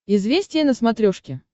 известия на смотрешке